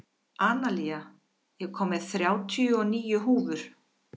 Analía, ég kom með þrjátíu og níu húfur!